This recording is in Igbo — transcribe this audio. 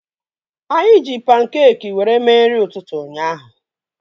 Anyị ji pankeekị were mee nri ụtụtụ ụnyaahụ